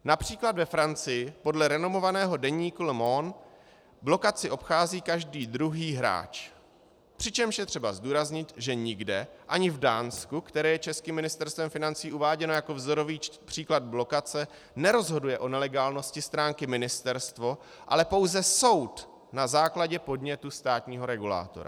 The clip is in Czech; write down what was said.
Například ve Francii podle renomovaného deníku Le Monde blokaci obchází každý druhý hráč, přičemž je třeba zdůraznit, že nikde, ani v Dánsku, které je českým Ministerstvem financí uváděno jako vzorový příklad blokace, nerozhoduje o nelegálnosti stránky ministerstvo, ale pouze soud na základě podnětu státního regulátora.